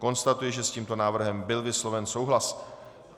Konstatuji, že s tímto návrhem byl vysloven souhlas.